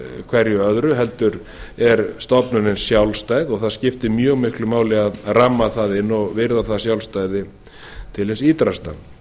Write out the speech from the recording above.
hverju öðru heldur er stofnunin sjálfstæð og það skiptir mjög miklu máli að ramma það inn og virða það sjálfstæði til hins ýtrasta